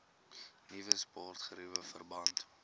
nuwe sportgeriewe verband